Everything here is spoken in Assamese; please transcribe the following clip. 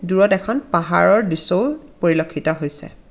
দূৰত এখন পাহাৰৰ দৃশ্যও পৰিলক্ষিত হৈছে।